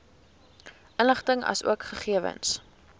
inligting asook gegewens